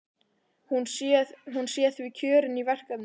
Hún sé því kjörin í verkefnið.